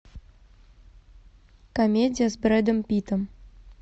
комедия с брэдом питтом